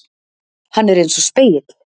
Hann er einsog spegill.